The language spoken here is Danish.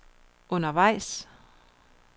undervejs